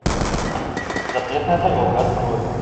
запретная дорога открой